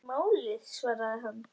Ekki málið, svaraði hann.